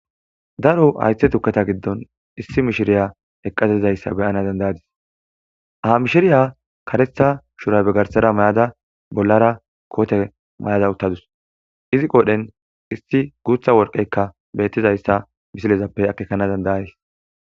daro haythe tukketa giddon issi mishiriya eqqatizayssa beyana dandayadis ah mishiriya karetha shura begarsara mayada bollara koote may7ada uttadus izi qodhen issi guutha worqeykka beettizayssa misilezappe akekana dandayays